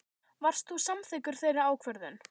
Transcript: Varst þú samþykkur þeirri ákvörðun?